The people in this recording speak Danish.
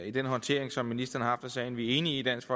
i den håndtering som ministeren har af sagen vi er enige i i dansk